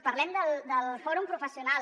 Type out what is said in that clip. parlem del fòrum professional